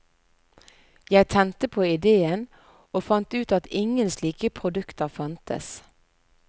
Jeg tente på idéen, og fant ut at ingen slike produkter fantes.